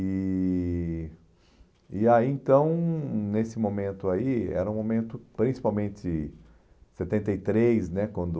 E e aí, então, nesse momento aí, era um momento principalmente em setenta e três né, quando